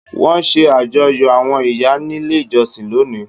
Wọn ṣe àjọyọ̀ àwọn ìyá nílé ìjọsìn lónìí.